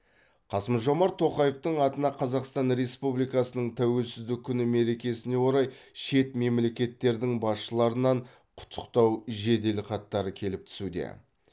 қасым жомарт тоқаевтың атына қазақстан республикасының тәуелсіздік күні мерекесіне орай шет мемлекеттердің басшыларынан құттықтау жеделхаттары келіп түсуде